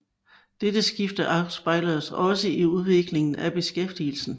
Dette skifte afspejledes også i udviklingen i beskæftigelsen